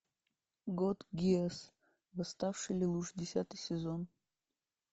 код гиас восставший лелуш десятый сезон